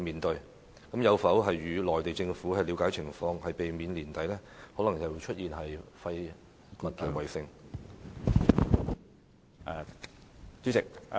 當局有否向內地政府了解情況，以避免年底可能再度出現"廢物圍城"呢？